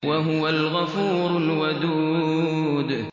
وَهُوَ الْغَفُورُ الْوَدُودُ